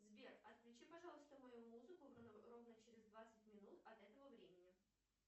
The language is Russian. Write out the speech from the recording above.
сбер отключи пожалуйста мою музыку ровно через двадцать минут от этого времени